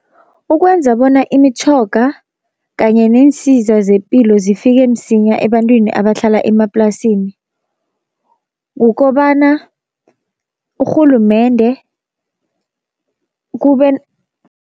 Ukwenza bona imitjhoga kanye neensiza zepilo zifike msinya ebantwini abahlala emaplasini kukobana urhulumende kube